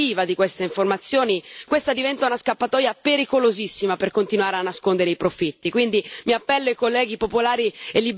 Senza che vi sia almeno la pubblicazione retroattiva di queste informazioni, questa diventa una scappatoia pericolosissima per continuare a nascondere i profitti.